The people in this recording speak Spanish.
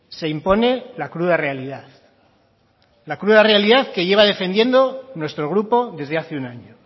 se impone la cruda realidad la cruda realidad que lleva defendiendo nuestro grupo desde hace un año